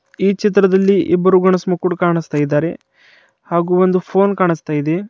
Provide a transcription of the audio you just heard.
ಈ ಚಿತ್ರದಲ್ಲಿ ಇಬ್ಬರುಗಳು ಕಾಣಿಸ್ತಾಇದ್ದಾರೆ ಹಾಗೂ ಒಂದು ಫೋನ್ ಕಾಣಿಸ್ತಾ ಇದೆ.